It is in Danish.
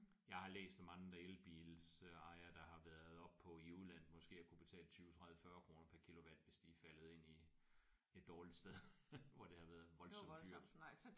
Jeg har læst om andre elbils øh ejere der har været oppe på i udlandet måske at kunne betale 20 30 40 kroner per kilowatt hvis de er faldet ind i et dårligt sted hvor det har været voldsomt dyrt